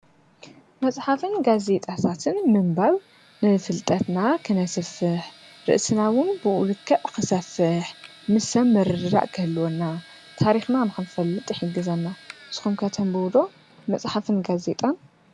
መፅሓፍን ጋዜጣታትን ምንባብ ንፍልጠትና ኽነስፍሕ ርእስና ውን ብእኡ ልከዕ ኽሰፍሕ፣ ምስ ሰብ ምርድዳ ክህልወና፣ ታሪኽና ንኸንፈልጥ ይሕግዘና ስኹም ከ ተንቡቡ ዶ መጽሓፍን ጋዜይጣን?